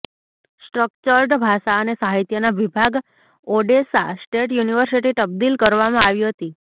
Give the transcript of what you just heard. structured ભાષા અને સાહિત્યના વિભાગ ઑડેસા સ્ટેટ યુનિવર્સિટી તબદિલ કરવામાં આવી હતી